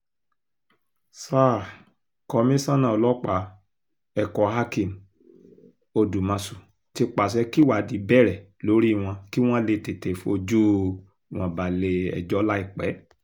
sa um komisanna ọlọ́pàá ẹ̀kọ́hakeem odùmọ̀ṣù ti pàṣẹ kíwádìí bẹ̀rẹ̀ lórí wọn kí wọ́n lè tètè fojú um wọn balẹ̀-ẹjọ́ láìpẹ́